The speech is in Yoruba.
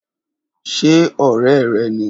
Ṣe òré rẹ ni